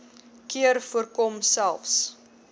keer voorkom selfs